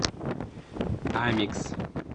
амикс